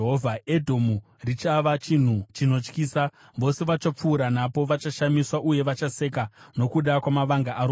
“Edhomu richava chinhu chinotyisa, vose vachapfuura napo vachashamiswa, uye vachaseka nokuda kwamavanga aro ose.